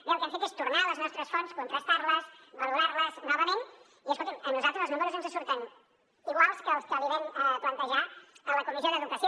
bé el que hem fet és tornar a les nostres fonts contrastar les valorar les novament i escolti’m a nosaltres els números ens surten iguals que els que li vam plantejar a la comissió d’educació